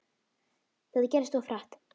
Þetta gerðist of hratt.